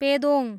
Pedong